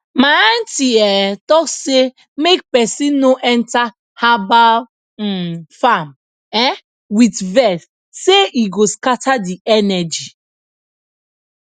my aunti um talk say make person no enter herbal um farm um with vex sey e go scatter the energy